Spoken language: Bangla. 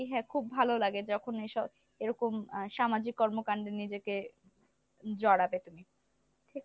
হ্যা খুব ভালো লাগে যখন এইসব এরকম আহ সামাজিক কর্মকান্ডে নিজেকে জড়াতে পারি।